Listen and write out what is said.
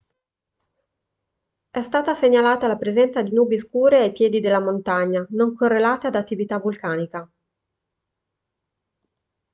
è stata segnalata la presenza di nubi scure ai piedi della montagna non correlate ad attività vulcanica